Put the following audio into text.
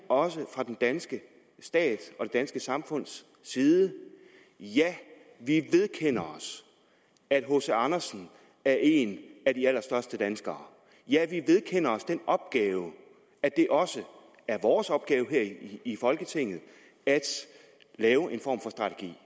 også fra den danske stats og det danske samfunds side ja vi vedkender os at hc andersen er en af de allerstørste danskere ja vi vedkender os den opgave at det også er vores opgave her i folketinget at lave en form for strategi